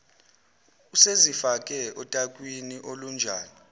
usezifake otakwini olunjani